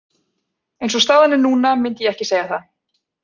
Eins og staðan er núna myndi ég ekki segja það.